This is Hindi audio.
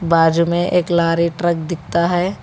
बाजू में एक लोरी ट्रक दिखता है।